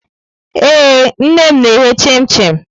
Ee, nne m na-eghe chim-chim.